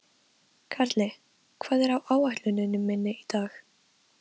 Karli, hvað er á áætluninni minni í dag?